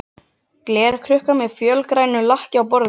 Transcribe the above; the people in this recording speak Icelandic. Glerkrukka með fölgrænu lakki á borðinu.